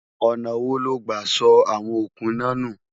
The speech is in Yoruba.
ọ̀nà wo lo gbà sọ àwọn okùn iná nù?